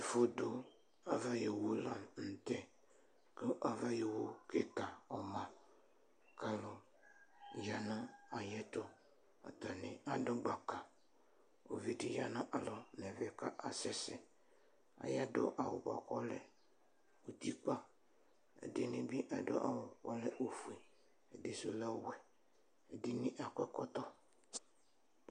Ɛfʋdʋ ava ayʋ owʋ lanʋtɛ, kʋ ava ayʋ owʋ kika ɔma kʋ alʋ yanʋ ayʋ ɛtʋ Atani adʋ gbaka ʋvidi yanʋ alɔ nʋ ɛvɛ, akasɛsɛ atani ́dʋ awʋ bʋakʋ ɔlɛutikpa, ɛdini bi adʋ awʋ kʋ ɔlɛ ofue, ɛdisʋ lɛ ɔwɛ, ɛdini akɔ ɛkɔtɔ